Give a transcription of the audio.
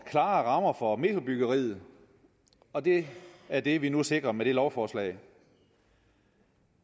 klare rammer for metrobyggeriet og det er det vi nu sikrer med det lovforslag